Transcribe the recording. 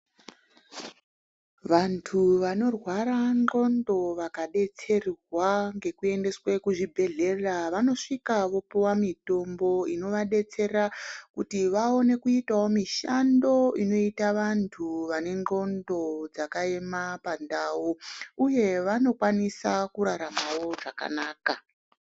Vantu vanorwara ndxondo vakabetserwa ngekuendeswe kuzvibhedhlera vanosvika vopiva mitombo inovabatsera kuti vaone kuitavo mishando inoita vantu vanendxondo dzakaema pandau, uye vanokwanisa kuraramavo zvakanaka.